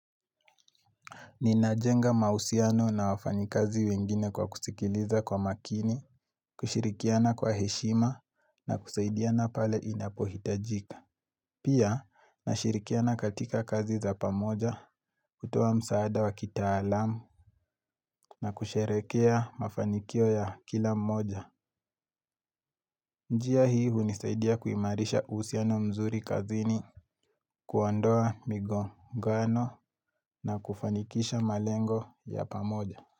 Ninajenga mahusiano na wafanyikazi wengine kwa kusikiliza kwa makini, kushirikiana kwa heshima na kusaidiana pale inapohitajika. Pia, nashirikiana katika kazi za pamoja, kutoa msaada wa kitaalamu na kusherehekea mafanikio ya kila mmoja. Njia hii hunisaidia kuimarisha uhusiano mzuri kazini, kuondoa migo ngano na kufanikisha malengo ya pamoja.